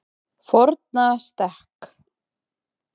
Fornastekk